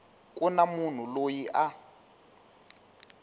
ku na munhu loyi a